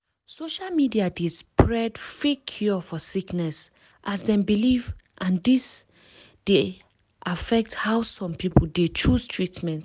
social media dey spread fake cure for sickness as dem belief and dis d affect how some people dey chose treatment.